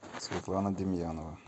светлана демьянова